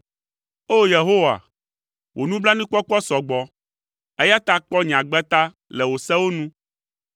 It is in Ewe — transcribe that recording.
O! Yehowa, wò nublanuikpɔkpɔ sɔ gbɔ, eya ta kpɔ nye agbe ta le wò sewo nu.